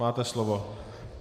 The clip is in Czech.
Máte slovo.